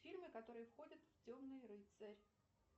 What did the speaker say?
фильмы которые входят в темный рыцарь